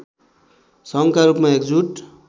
सङ्घका रूपमा एकजुट